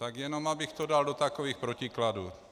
Tak jenom abych to dal do takových protikladů.